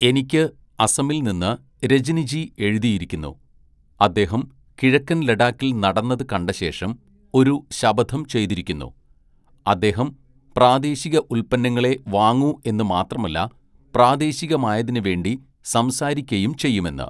"എനിക്ക് അസമില്‍ നിന്ന് രജനിജീ എഴുതിയിരിക്കുന്നു അദ്ദേഹം കിഴക്കന്‍ ലഡാക്കില്‍ നടന്നത് കണ്ടശേഷം ഒരു ശപഥം ചെയ്തിരിക്കുന്നു അദ്ദേഹം പ്രാദേശിക ഉത്പന്നങ്ങളേ വാങ്ങൂ എന്നു മാത്രമല്ല പ്രാദേശികമായതിനുവേണ്ടി സംസാരിക്കയും ചെയ്യുമെന്ന്. "